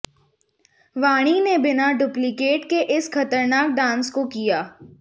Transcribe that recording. वाणी ने बिना डुप्लीकेट के इस खतरनाक डांस को किया